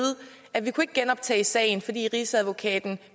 at vi ikke kunne genoptage sagen fordi rigsadvokaten